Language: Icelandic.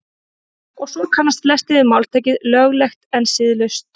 og svo kannast flestir við máltækið „löglegt en siðlaust“